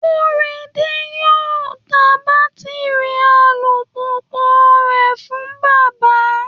Korede yóò ta bátíri alùpùpù rẹ̀ fún bàbá